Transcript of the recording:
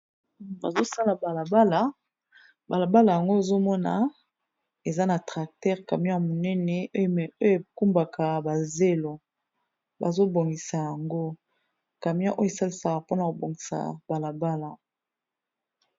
Bazo sala bala bala, bala bala yango ozo mona eza na tracteur camion ya monene oyo ekumbaka ba zelo. Bazo bongisa yango camion oyo esalisaka mpona kobongisa bala bala.